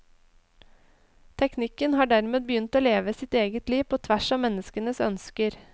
Teknikken har dermed begynt å leve sitt eget liv på tvers av menneskenes ønsker.